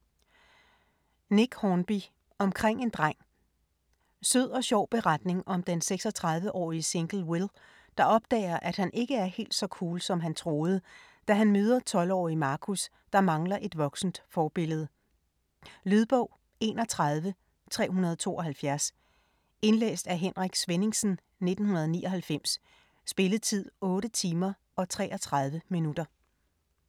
Hornby, Nick: Omkring en dreng Sød og sjov beretning om den 36-årige single Will, der opdager at han ikke er helt så cool som han troede, da han møder 12-årige Marcus, der mangler et voksent forbillede. Lydbog 31372 Indlæst af Henrik Svenningsen, 1999. Spilletid: 8 timer, 33 minutter.